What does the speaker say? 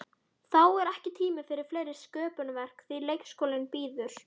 Þá er ekki tími fyrir fleiri sköpunarverk því leikskólinn bíður.